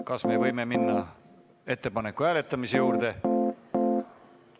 Kas võime minna ettepaneku hääletamise juurde?